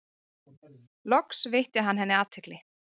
Loks veitti hann henni athygli.